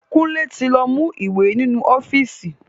Kunle ti lọ mú ìwé ninu ọ́fíìsì